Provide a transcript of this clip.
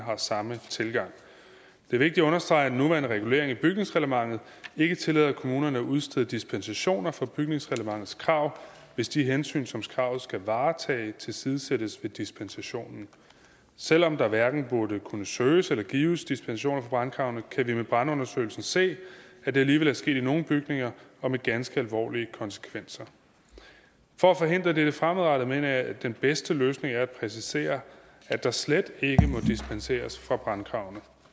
har samme tilgang det er vigtigt at understrege at den nuværende regulering i bygningsreglementet ikke tillader kommunerne at udstede dispensationer fra bygningsreglementets krav hvis de hensyn som kravet skal varetage tilsidesættes ved dispensationen selv om der hverken burde kunne søges eller gives dispensationer fra brandkravene kan vi med brandundersøgelsen se at det alligevel er sket i nogle bygninger og med ganske alvorlige konsekvenser for at forhindre dette fremadrettet mener jeg at den bedste løsning er at præcisere at der slet ikke må dispenseres fra brandkravene